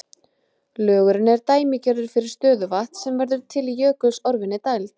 Lögurinn er dæmigerður fyrir stöðuvatn sem verður til í jökulsorfinni dæld.